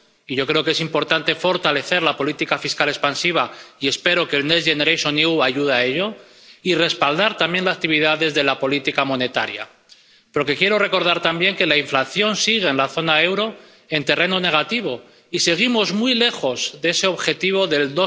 Yo creo que es importante fortalecer la política fiscal expansiva —y espero que el Next Generation EU ayude a ello— y respaldar también actividades de la política monetaria. Porque quiero recordar también que la inflación sigue en la zona del euro en terreno negativo y seguimos muy lejos de ese objetivo del